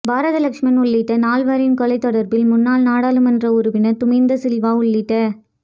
பாரத லக்ஷ்மன் உள்ளிட்ட நால்வரின் கொலை தொடர்பில் முன்னாள் நாடாளுமன்ற உறுப்பினர் துமிந்த சில்வா உள்ளிட